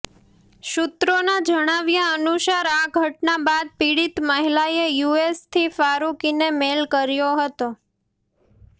સૂત્રોના જણાવ્યા અનુસાર આ ઘટના બાદ પીડિત મહિલાએ યુએસથી ફારુકીને મેલ કર્યો હતો